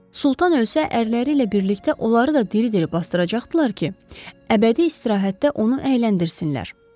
Sultan ölsə, ərləri ilə birlikdə onları da diri-diri basdıracaqdılar ki, əbədi istirahətdə onu əyləndirsinlər.